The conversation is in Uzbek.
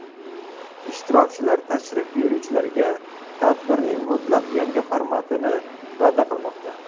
Ishtirokchilar tashrif buyuruvchilarga tadbirning mutlaq yangi formatini va’da qilmoqda.